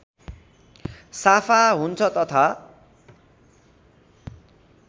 साफा हुन्छ तथा